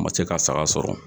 N ma se k'a saga sɔrɔ